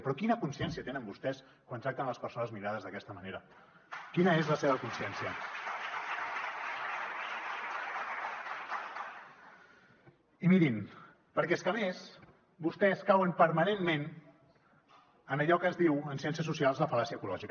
però quina consciència tenen vostès quan tracten les persones migrades d’aquesta manera quina és la seva consciència perquè és que a més vostès cauen permanentment en allò que es diu en ciències socials la fal·làcia ecològica